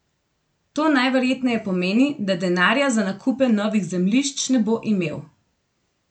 To najverjetneje pomeni, da denarja za nakupe novih zemljišč ne bo imel.